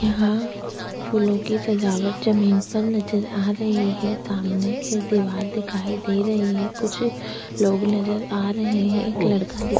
यहाँ फूलों की सजावट जमीन पर नजर आ रही है सामने एक दीवार दिखाई दे रही है कुछ लोग नजर आ रहे हैं एक लड़का दिख --